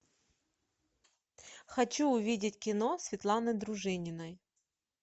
хочу увидеть кино светланы дружининой